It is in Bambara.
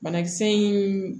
Banakisɛ in